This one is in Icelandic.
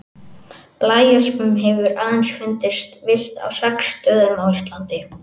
Blæöspin hefur aðeins fundist villt á sex stöðum á Íslandi.